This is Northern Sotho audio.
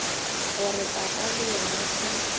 gore papa le yena e